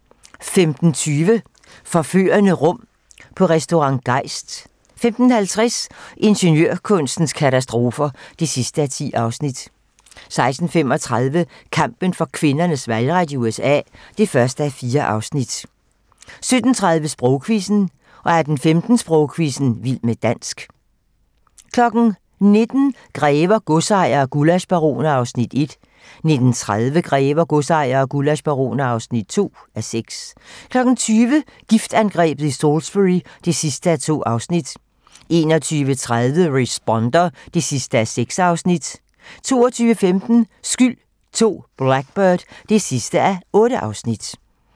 15:20: Forførende rum på Restaurant Geist 15:50: Ingeniørkunstens katastrofer (10:10) 16:35: Kampen for kvinders valgret i USA (1:4) 17:30: Sprogquizzen 18:15: Sprogquizzen - vild med dansk 19:00: Grever, godsejere og gullaschbaroner (1:6) 19:30: Grever, godsejere og gullaschbaroner (2:6) 20:00: Giftangrebet i Salisbury (2:2) 21:30: The Responder (6:6) 22:15: Skyld II - Blackbird (8:8)